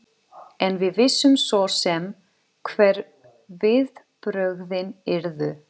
En við vissum svo sem hver viðbrögðin yrðu.